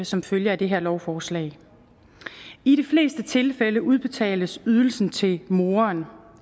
som følge af det her lovforslag i de fleste tilfælde udbetales ydelsen til moren